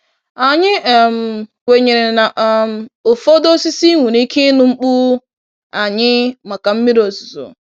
Anyị um kwenyere na um ụfọdụ osisi nwere ike ịnụ mkpu anyị maka mmiri ozuzo.